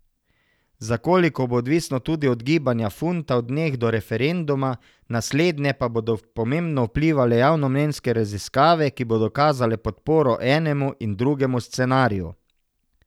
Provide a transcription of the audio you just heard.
Za koliko, bo odvisno tudi od gibanja funta v dneh do referenduma, na slednje pa bodo pomembno vplivale javnomnenjske raziskave, ki bodo kazale podporo enemu in drugemu scenariju.